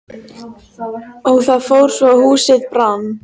Og það fór svo að húsið brann.